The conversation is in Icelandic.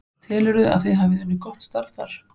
Telurðu að þið hafi unnið gott starf þar?